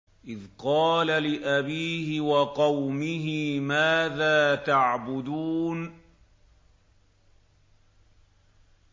إِذْ قَالَ لِأَبِيهِ وَقَوْمِهِ مَاذَا تَعْبُدُونَ